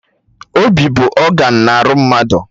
Obi bụ ọgan arụ mmadụ